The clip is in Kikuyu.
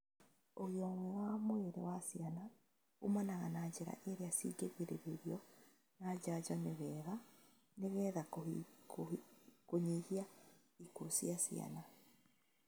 Ũgima mwega wa mwĩrĩ wa ciana kuumana na njĩra iria cingĩgirĩrĩrio na njanjo nĩwega nĩgetha kũnyihia ikuũ cia ciana